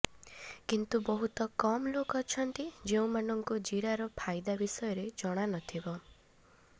କିନ୍ତୁ ବହୁତ କମ୍ ଲୋକ ଅଛନ୍ତି ଯେଉଁମାନଙ୍କୁ ଜିରାର ଫାଇଦା ବିଷୟରେ ଜଣାନଥିବ